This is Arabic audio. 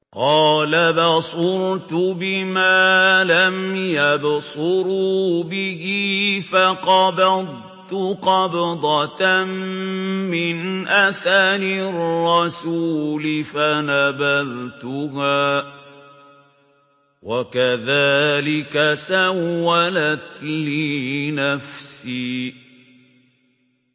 قَالَ بَصُرْتُ بِمَا لَمْ يَبْصُرُوا بِهِ فَقَبَضْتُ قَبْضَةً مِّنْ أَثَرِ الرَّسُولِ فَنَبَذْتُهَا وَكَذَٰلِكَ سَوَّلَتْ لِي نَفْسِي